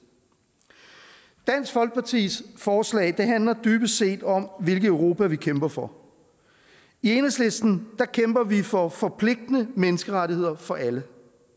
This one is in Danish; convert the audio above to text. dansk folkepartis forslag handler dybest set om hvilket europa vi kæmper for i enhedslisten kæmper vi for forpligtende menneskerettigheder for alle